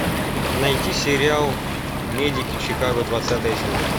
найти сериал медики чикаго двадцатая серия